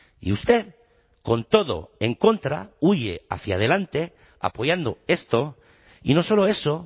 y usted con todo en contra huye hacia adelante apoyando esto y no solo eso